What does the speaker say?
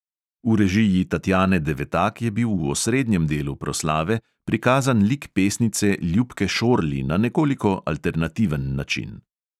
V režiji tatjane devatak je bil v osrednjem delu proslave prikazan lik pesnice ljubke šorli na nekoliko alternativen način.